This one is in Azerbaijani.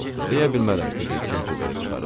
Yox, deyə bilmərəm sizi kim pul verib çıxarıb.